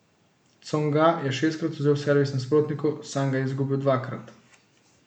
Tsonga je šestkrat odvzel servis nasprotniku, sam ga je izgubil dvakrat.